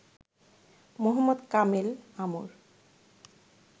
Mohammad Kamel Amr